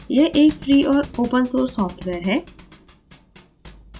यह एक free और open source software है